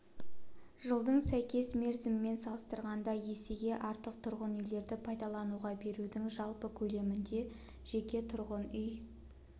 жылдың сәйкес мерзімімен салыстырғанда есеге артық тұрғын үйлерді пайдалануға берудің жалпы көлемінде жеке тұрғын үй